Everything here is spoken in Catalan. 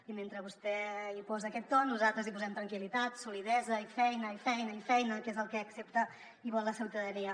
i mentre vostè hi posa aquest to nosaltres hi posem tranquil·litat solidesa i feina i feina i feina que és el que accepta i vol la ciutadania